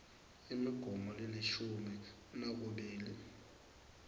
imigomo lelishumi nakubili